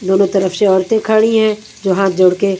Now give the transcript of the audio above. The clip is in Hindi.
दोनों तरफ से औरतें खड़ी हैं जो हाथ जोड़ के--